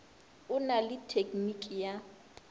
o na le tekniki ya